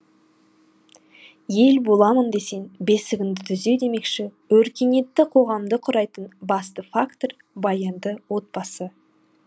ел боламын десең бесігіңді түзе демекші өркениетті қоғамды құрайтын басты фактор баянды отбасы